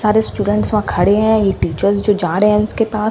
सारे स्टूडेंट्स वहा खड़े हैं ये टीचर्स जो जा रहे हैं उसके पास--